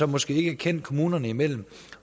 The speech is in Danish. måske ikke kendt kommunerne imellem